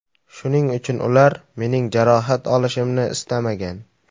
Shuning uchun ular mening jarohat olishimni istamagan.